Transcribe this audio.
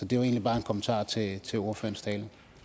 det var egentlig bare en kommentar til til ordførerens tale